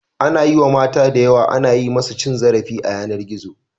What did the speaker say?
Anayi wa mata da yawa ana yi musu cin zarafi a yanar gizo